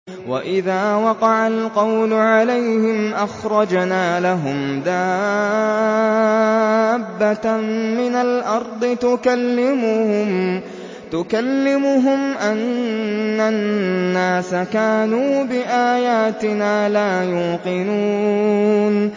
۞ وَإِذَا وَقَعَ الْقَوْلُ عَلَيْهِمْ أَخْرَجْنَا لَهُمْ دَابَّةً مِّنَ الْأَرْضِ تُكَلِّمُهُمْ أَنَّ النَّاسَ كَانُوا بِآيَاتِنَا لَا يُوقِنُونَ